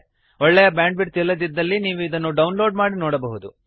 ಒಳ್ಳೆಯ bandwidth ಇಲ್ಲದಿದ್ದಲ್ಲಿ ನೀವು ಇದನ್ನು ಡೌನ್ ಲೋಡ್ ಮಾಡಿ ನೋಡಬಹುದು